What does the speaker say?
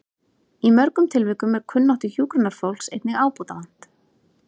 Í mörgum tilvikum er kunnáttu hjúkrunarfólks einnig ábótavant.